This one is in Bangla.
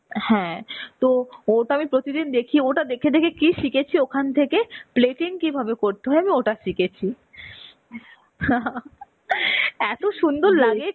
হ্যাঁ. তো ওটা আমি প্রতিদিন দেখি. ওটা দেখে দেখে কি শিখেছি ওখান থেকে Plating কিভাবে করতে হয় আমি ওটা শিখেছি. এত সুন্দর লাগে